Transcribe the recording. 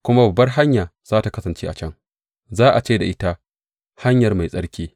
Kuma babbar hanya za tă kasance a can; za a ce ta ita Hanyar Mai Tsarki.